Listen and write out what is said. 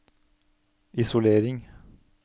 isolering